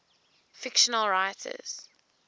fictional writers